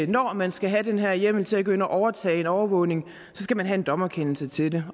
når man skal have den her hjemmel til at gå ind og overtage en overvågning skal man have en dommerkendelse til